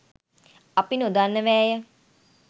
අපි නොදන්නවයැ!